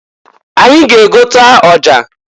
Anyị ga-egota ọsha.